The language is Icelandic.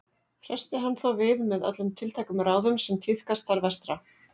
Hressti hann þá við með öllum tiltækum ráðum sem tíðkast þar vestra.